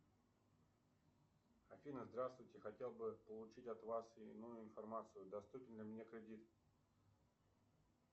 афина здравствуйте хотел бы получить от вас иную информацию доступен ли мне кредит